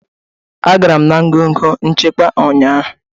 Agara m na ngọngọ nchịkwa ụnyaahụ